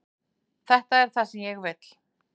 Þetta er það sem ég vil.